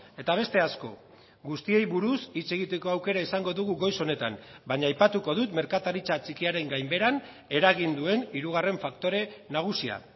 eta beste asko guztiei buruz hitz egiteko aukera izango dugu goiz honetan baina aipatuko dut merkataritza txikiaren gainbeheran eragin duen hirugarren faktore nagusia